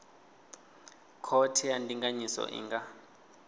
khothe ya ndinganyiso i nga